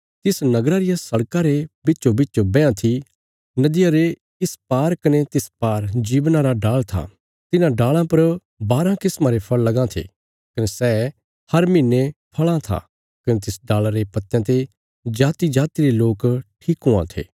तिस नगरा रिया सड़कां रे बिच्चोबिच बैयां थी नदिया रे इस पार कने तिस पार जीवना रा डाल़ था तिन्हां डाल़ां पर बाराँ किस्मा रे फल़ लगां थे कने सै हर महीने फल़ां था कने तिस डाल़ा रे पत्तयां ते जातिजाति रे लोक ठीक हुआं थे